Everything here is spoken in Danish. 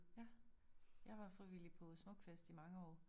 Ja. Jeg var frivillig på smukfest i mange år